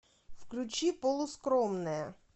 включи полускромная